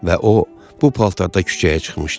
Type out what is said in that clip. Və o bu paltarda küçəyə çıxmışdı.